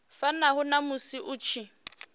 fanaho na musi hu tshi